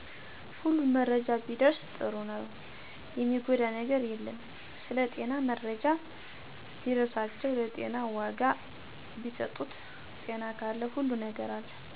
ሁሉም መረጃ ቢደርስ ጥሩ ነው የሚጎዳ ነገር የለም ስለጤና መረጃ ቢደርሳቸው ለጤና ወጋ ቢሰጡት ጤና ካለ ሁሉም ነገር አለ